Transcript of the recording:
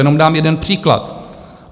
Jenom dám jeden příklad.